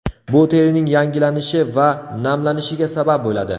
Bu terining yangilanishi va namlanishiga sabab bo‘ladi.